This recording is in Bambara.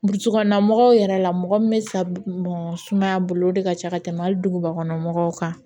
Burusi kɔnɔna mɔgɔw yɛrɛ la mɔgɔ min bɛ sa sumaya bolo o de ka ca ka tɛmɛ hali duguba kɔnɔ mɔgɔw kan